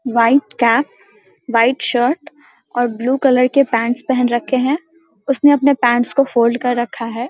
White cap white shirt और blue colour के pants पहन रखे हैं उसने अपने पैन्ट्स को फोल्ड कर रखा है।